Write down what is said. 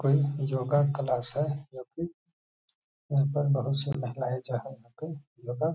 कोई योगा क्लास है जो कि यहाँ पर बोहुत से महिलाये योगा --